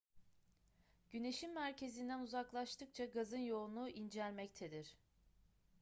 güneşin merkezinden uzaklaştıkça gazın yoğunluğu incelmektedir